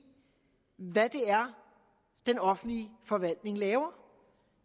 hvad det er den offentlige forvaltning laver